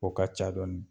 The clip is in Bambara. O ka ca dɔɔni